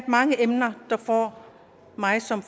mange emner der får mig som